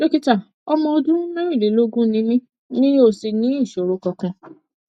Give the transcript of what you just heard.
dókítà ọmọ ọdún mẹrìnlélógún ni mí mi ò sì ní ìṣòro kankan